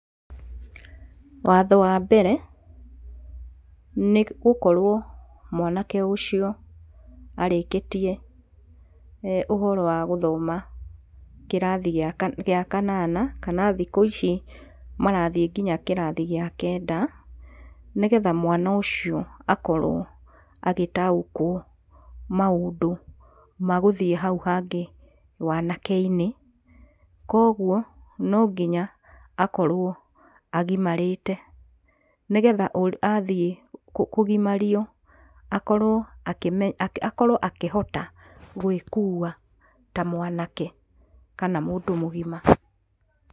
Watho wa mbere nĩ gũkorwo mwanake ũcio arĩkĩtie ũhoro wa gũthoma kĩrathi gĩa kana, gĩa kanana, kana thikũ ici marathiĩ nginya kĩrathi kĩa kenda, nĩgetha mwana ũcio akorwo agĩtaũkwo maũndũ magũthiĩ hau hangĩ wanake-inĩ. Koguo no nginya akorwo agimarĩte nĩgetha athiĩ kũgimario akorwo akĩme, akorwo akĩhota gwĩkua ta mwanake kana mũndũ mũgima.